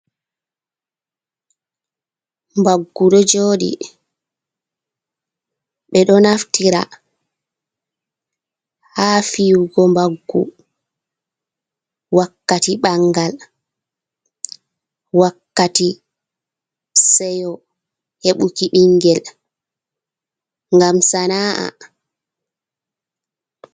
Mbaggu ɗo joɗi, ɓe ɗo naftira ha fiyugo mbaggu wakkati bangal, wakkati seyo hebuki bingel, ngam sana’a.